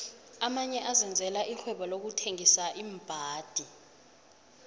amanye azenzela ixhwebonqokuthengisa iimbhadi